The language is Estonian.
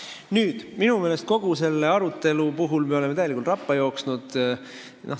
Minu meelest me oleme kogu selle aruteluga täielikult rappa jooksnud.